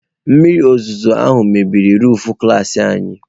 Mmiri ozuzo ahụ bibiri roofu klas anyị.